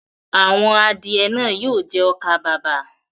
Àwọn adìẹ náà yóò jẹ ọkà-bàbà.